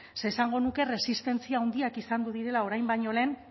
ze esango nuke resistentzia handiak izango direla orain baino lehen